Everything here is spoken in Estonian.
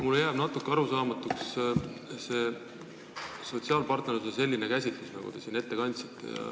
Mulle jääb natuke arusaamatuks sotsiaalpartnerluse selline käsitlus, nagu te siin ette kandsite.